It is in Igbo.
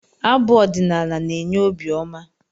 Abụ ọdinaala na-enye obi ọma